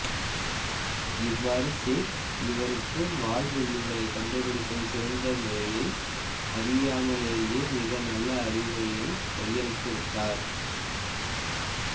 இவ்வாரு சேக் இவருக்கு வால்வெள்ளிகளைக் கண்டுபிடிக்கும் சிறந்த முறையை அவரையறியாமலேயே மிக நல்ல அறிவுரையைக் கையளித்துவிட்டார்